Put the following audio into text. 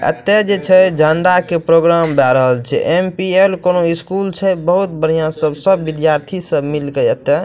एत्ते जे छे झंडा के प्रोग्राम दे रहल छे एम.पी.एल. कोनो स्कूल छे बहुत बढ़िया सब सब विद्यार्थी सब मिल के एत्ते --